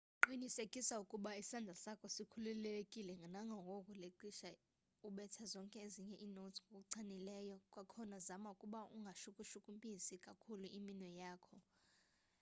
qiniseka ukuba isandla sakho sikhululekile kangangoko ngelixa ubetha zonke ezinye inotes ngokuchanileyo-kwakhona zama ukuba ungashukushukumisi kakhulu iminwe yakho